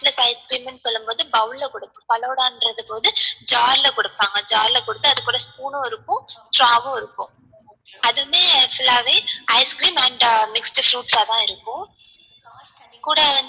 இல்ல இப்போ ice cream னு சொல்லும்போது bowl ல குடுப்போம் falooda ன்றது வந்து jar ல குடுப்பாங்க jar ல குடுத்து அது கூட spoon உம் இருக்கும் straw உம் இருக்கும் அது வந்து full ஆவே ice cream and mixed fruits ஆ தான் இருக்கும் கூட வந்து